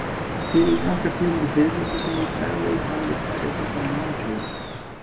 Til eru nokkrar tegundir fiðrilda sem í daglegu tali eru kallaðar mölflugur.